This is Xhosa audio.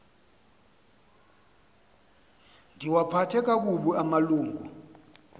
ndiwaphathe kakubi amalungu